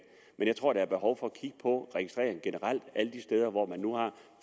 men jeg tror der er behov for at kigge på registreringen generelt